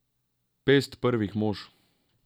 Pest Prvih mož.